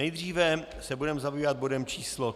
Nejdříve se budeme zabývat bodem číslo